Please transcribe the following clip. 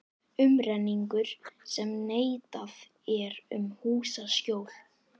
Umrenningur sem neitað er um húsaskjól.